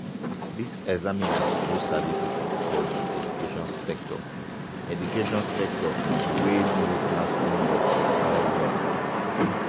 dis examiners na sabi pipo for di education sector education sector um wey know classroom work well-well.